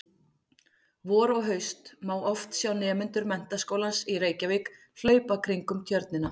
Vor og haust má oft sjá nemendur Menntaskólans í Reykjavík hlaupa kringum Tjörnina.